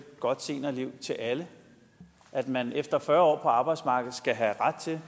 godt seniorliv til alle at man efter fyrre år arbejdsmarkedet skal have ret til